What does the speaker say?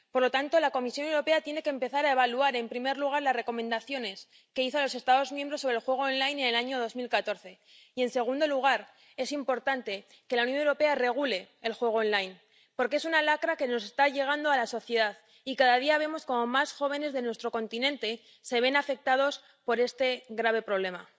Por lo tanto, la Comisión Europea tiene que empezar a evaluar, en primer lugar, las recomendaciones que hizo a los Estados miembros sobre el juego en línea en el año 2014 y, en segundo lugar, es importante que la Unión Europea regule el juego en línea, porque es una lacra que está llegando a la sociedad y cada día vemos como más jóvenes de nuestro continente se ven afectados por este grave problema.